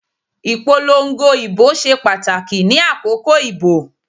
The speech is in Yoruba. Ìpolongo ìbò ṣe pàtàkì ni àkókò ìbò